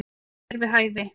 Það er við hæfi.